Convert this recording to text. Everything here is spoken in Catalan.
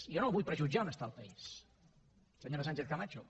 jo no vull prejutjar on està el país senyora sánchez camacho